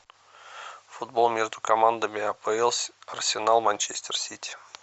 футбол между командами апл арсенал манчестер сити